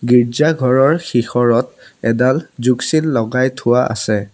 গীৰ্জাঘৰৰ শিশৰত এডাল যোগ চিন লগাই থোৱা আছে।